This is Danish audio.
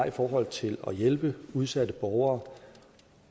i forhold til at hjælpe udsatte borgere